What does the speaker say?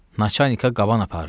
Naçanikə qaban aparıram.